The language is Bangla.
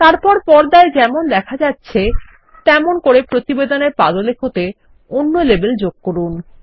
তারপর পর্দায় যেমন দেখা যাচ্ছে তেমনআমাদের প্রতিবেদনের পাদলেখ তেঅন্য লেবেল যোগ করুন